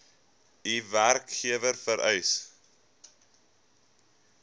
u werkgewer vereis